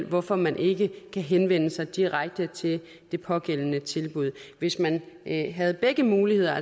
hvorfor man ikke kan henvende sig direkte til det pågældende tilbud hvis man havde begge muligheder at